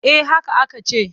Eh haka aka ce.